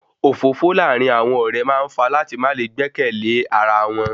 Òfófó láàrin àwọn ọ̀rẹ́ máa ń fa láti má le gbẹ́kẹ̀lẹ́ ara wọn